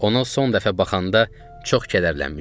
Ona son dəfə baxanda çox kədərlənmişdim.